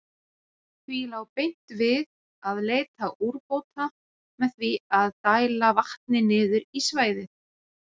Því lá beint við að leita úrbóta með því að dæla vatni niður í svæðið.